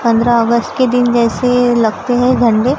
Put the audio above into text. पंद्रह अगस्त के दिन जैसे लगते हैं झंडे।